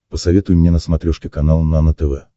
посоветуй мне на смотрешке канал нано тв